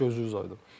Gözünüz aydın.